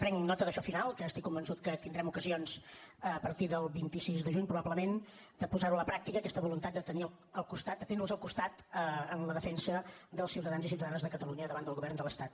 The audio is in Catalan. prenc nota d’això final que estic convençut que tindrem ocasions a partir del vint sis de juny probablement de posar ho a la pràctica aquesta voluntat de tenir al costat de tenir los al costat en la defensa dels ciutadans i ciutadanes de catalunya davant del govern de l’estat